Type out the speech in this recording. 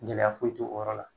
Gɛlɛya foyi t'o yɔrɔ la.